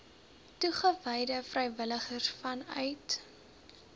toegewyde vrywilligers vanuit